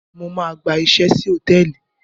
Mo máa gba iṣẹ́ sí hòtẹ́ẹ̀lì.